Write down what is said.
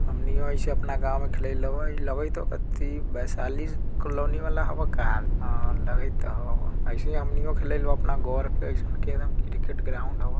हमनियो ऐसे अपना गांव में खेले लो लगेत हो कते वैशालीज कॉलोनी वाला हवा का अं लगैत हो ऐसे हमनियों खेले लो अपना घोर पे ऐसन के रन क्रिकेट ग्राउंड हवो।